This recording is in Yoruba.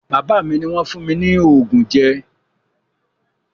Bàbá mi ni wọn fún mi ní oògùn ẹ̀jẹ̀